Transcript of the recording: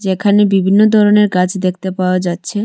যেখানে বিভিন্ন ধরনের গাছ দেখতে পাওয়া যাচ্ছে।